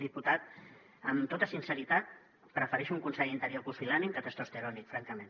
diputat amb tota sinceritat prefereixo un conseller d’interior pusil·lànime que testosterònic francament